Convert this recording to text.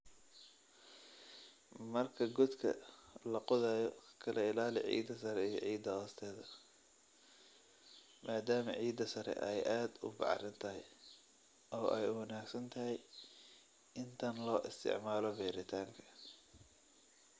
Marka godka la qodayo kala ilaali ciidda sare iyo ciidda hoosteeda maadaama ciidda sare ay aad u bacrin tahay oo ay ugu wanaagsan tahay in tan loo isticmaalo beeritaanka.